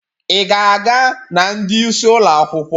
Ị ga-aga na ndị isi ụlọ akwụkwọ?